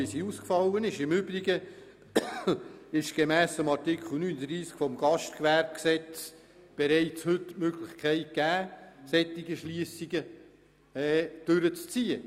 Im Übrigen gibt Artikel 39 des Gastgewerbegesetzes bereits heute die Möglichkeit, solche Schliessungen durchzuziehen.